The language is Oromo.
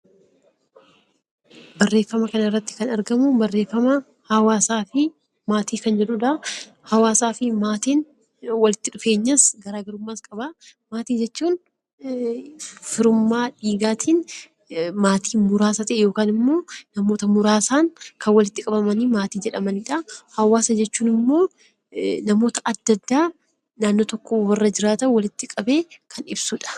Barreeffama kana irratti Kan argamu barreeffama hawaasaa fi maatii Kan jedhudha. hawaasa fi maatiin walitti dhufeenyas garaagarummaas qaba. Maatii jechuun firummaa dhiigaatiin maatii muraasa tahe yookaan Immoo namoota muraasaan Kan walitti qabamanii maatii jedhamaniiidha. Hawaasa jechuun immoo namoota adda addaa naannoo tokko warra jiraatan walitti qabee Kan ibsudha.